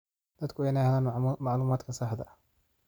Dadku waa inay helaan macluumaadka saxda ah.